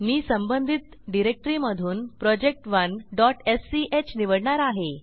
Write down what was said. मी संबंधित डिरेक्टरीमधून project1स्क निवडणार आहे